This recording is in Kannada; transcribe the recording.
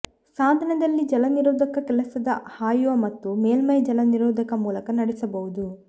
ಸಾಧನದಲ್ಲಿ ಜಲನಿರೋಧಕ ಕೆಲಸದ ಹಾಯುವ ಮತ್ತು ಮೇಲ್ಮೈ ಜಲನಿರೋಧಕ ಮೂಲಕ ನಡೆಸಬಹುದು